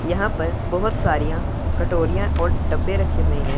यहां पर बहुत साड़ियां कटोरियां और डब्बे रखे हुए हैं।